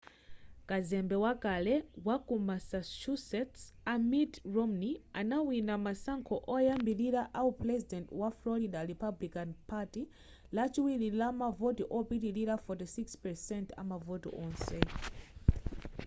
kazembe wakale waku massachusetts a mitt romney anawina masankho oyambilira awu puresident wa florida republican party lachiwiri ndi mavoti opitilira 46 % amavoti onse